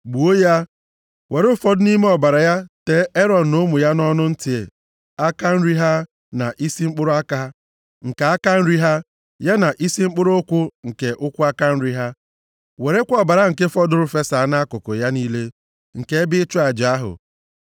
Gbuo ya. Were ụfọdụ nʼime ọbara ya tee Erọn na ụmụ ya nʼọnụ ntị aka nri ha, na isi mkpụrụ aka nke aka nri ha, ya na isi mkpụrụ ụkwụ nke ụkwụ aka nri ha. Werekwa ọbara nke fọdụrụ fesaa nʼakụkụ ya niile nke ebe ịchụ aja ahụ.